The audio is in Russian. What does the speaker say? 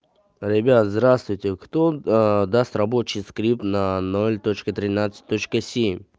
ребят здравствуйте кто а даст рабочий скрипт на ноль точка тринадцать точка семь